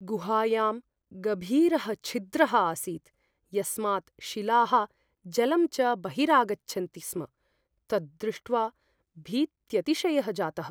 गुहायां गभीरः छिद्रः आसीत् यस्मात् शिलाः जलं च बहिरागच्छन्ति स्म, तद्दृष्ट्वा भीत्यतिशयः जातः।